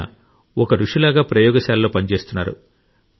అయినా ఒక రుషి లాగా ప్రయోగశాలలో పనిచేస్తున్నారు